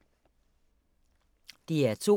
DR2